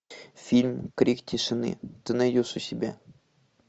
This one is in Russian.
фильм крик тишины ты найдешь у себя